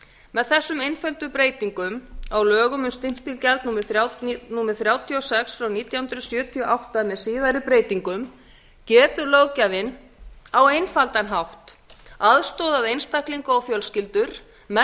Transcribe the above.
með þessum einföldu breytingum á lögum um stimpilgjald númer þrjátíu og sex nítján hundruð sjötíu og átta með síðari breytingum getur löggjafinn á einfaldan hátt aðstoðað einstaklinga og fjölskyldu með